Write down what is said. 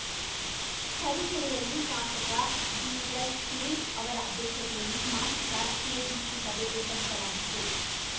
ತರೀಕೆರೆಯಲ್ಲಿ ಶಾಸಕ ಡಿಎಸ್‌ಸುರೇಶ್‌ ಅವರ ಅಧ್ಯಕ್ಷತೆಯಲ್ಲಿ ಮಾಸಿಕ ಕೆಡಿಪಿ ಸಭೆ ಏರ್ಪಡಿಸಲಾಗಿತ್ತು